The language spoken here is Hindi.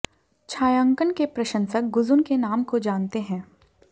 छायांकन के प्रशंसक गुज़ुन के नाम को जानते हैं